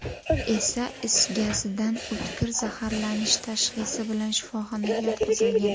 esa is gazidan o‘tkir zaharlanish tashxisi bilan shifoxonaga yotqizilgan.